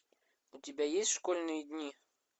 у тебя есть школьные дни